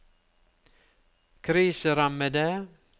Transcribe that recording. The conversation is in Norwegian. kriserammede